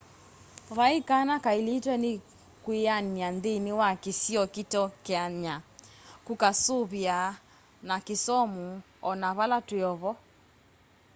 vaĩ kana kaĩlĩtwe nĩ kwĩanĩa nthĩnĩ wa kĩsĩo kĩteũkeanya kũkasũvĩa na kĩsomũ onavala twĩovo